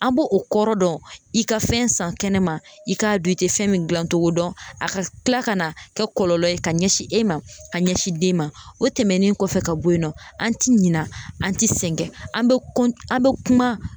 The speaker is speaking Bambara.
A b'o o kɔrɔ dɔn i ka fɛn san kɛnɛma i k'a dɔn i te fɛn min gilan togo dɔn a ka tila ka na kɛ kɔlɔlɔ ye ka ɲɛsin e ma ka ɲɛsin den ma o tɛmɛnen kɔfɛ ka bɔ yen nɔ an ti ɲina an ti sɛgɛn an be kɔn an be kuma